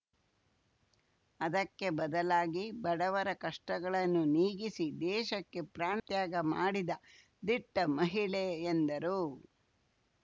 ಅದಕ್ಕೆ ಬದಲಾಗಿ ಬಡವರ ಕಷ್ಟಗಳನ್ನು ನೀಗಿಸಿ ದೇಶಕ್ಕೆ ಪ್ರಾಣತ್ಯಾಗ ಮಾಡಿದ ದಿಟ್ಟಮಹಿಳೆ ಎಂದರು